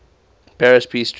paris peace treaty